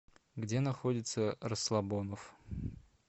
где находится расслабоноф